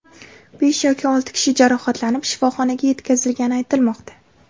Besh yoki olti kishi jarohatlanib, shifoxonaga yetkazilgani aytilmoqda.